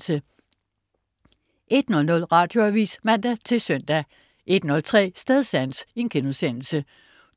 01.00 Radioavis (man-søn) 01.03 Stedsans*